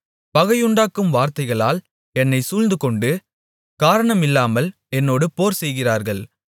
பகையுண்டாக்கும் வார்த்தைகளால் என்னைச் சூழ்ந்துகொண்டு காரணமில்லாமல் என்னோடு போர்செய்கிறார்கள்